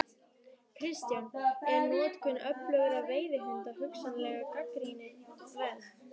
Kristján: Er notkun öflugra veiðihunda hugsanlega gagnrýni verð?